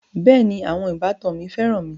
Bẹẹni, àwọn ìbátan mi féràn mi